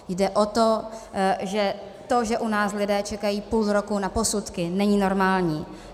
Jde o to, že to, že u nás lidé čekají půl roku na posudky, není normální.